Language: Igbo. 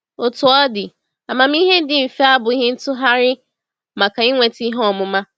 Otú ọ dị, amamihe dị mfe abụghị ntụgharị maka inweta ihe ọmụma.